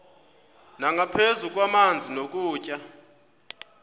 nangaphezu kwamanzi nokutya